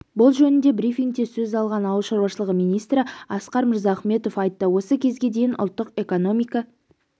бұл жөнінде брифингте сөз алған ауыл шаруашылығы министрі асқар мырзахметов айтты осы кезге дейін ұлттық экономика